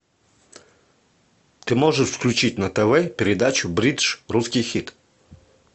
ты можешь включить на тв передачу бридж русский хит